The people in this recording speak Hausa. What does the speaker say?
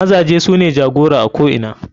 Mazaje sune jagora a ko ina.